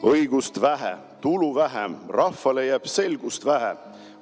Õigust vähe, tulu vähem, rahvale jääb selgust vähe.